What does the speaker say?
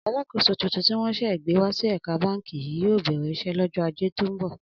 Alákòóso tuntun tí wó̩n sè̩ gbé wá sí è̩ka báǹkì yìí yóò bè̩rè̩ is̩é̩ lọ́jó̩ Ajé tó ń bò̩